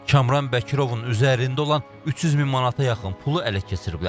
Kamran Bəkirovun üzərində olan 300 min manata yaxın pulu ələ keçiriblər.